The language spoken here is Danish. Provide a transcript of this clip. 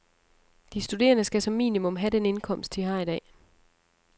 De studerende skal som minimum have den indkomst, de har i dag.